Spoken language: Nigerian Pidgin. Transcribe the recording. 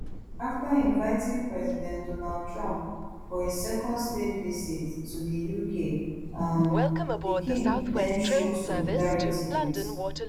afta inviting president donald trump for a second state visit to di uk um di king den show solidarity wit